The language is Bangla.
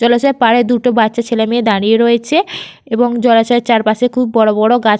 জলাশয়ের পারে দুটো বাচ্চা ছেলেমেয়ে দাঁড়িয়ে রয়েছে এবং জলাশয়ের চারপাশে খুব বড়বড় গাছ--